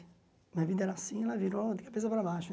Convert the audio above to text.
Minha vida era assim, ela virou de cabeça para baixo.